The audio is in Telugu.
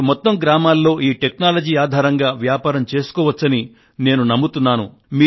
మీరు మొత్తం గ్రామంలో ఈ టెక్నాలజీ ఆధారంగా వ్యాపారం చేసుకోవచ్చని నేను నమ్ముతున్నాను